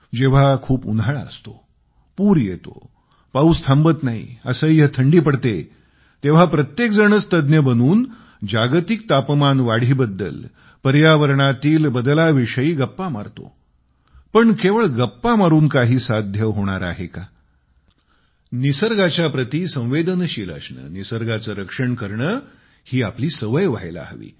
जेव्हा खूप उन्हाळा असतो पूर येतो पाऊस थांबत नाही असह्य थंडी पडते तेव्हा प्रत्येक जणच तज्ज्ञ बनून जागतिक तापमान वाढीबद्दल पर्यावरणातील बदलाविषयी गप्पा मारतो पण केवळ गप्पा मारून काही साध्य होणार आहे का निसर्गाच्या प्रति संवेदनशील असणे निसर्गाचे रक्षण करणे ही आपली सवय व्हायला हवी